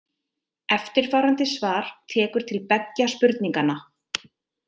Eftirfarandi svar tekur til beggja spurninganna.